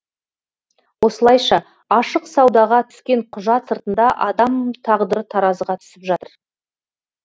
осылайша ашық саудаға түскен құжат сыртында адам тағдыры таразыға түсіп жатыр